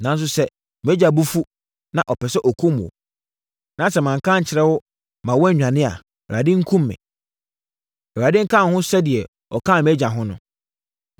Nanso sɛ mʼagya bo afu, na ɔpɛ sɛ ɔkum wo, na sɛ manka ankyerɛ wo ma wo annwane a Awurade nkum me. Awurade nka wo ho sɛdeɛ ɔkaa mʼagya ho no.